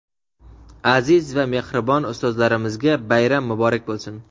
aziz va mehribon ustozlarimizga bayram muborak bo‘lsin!.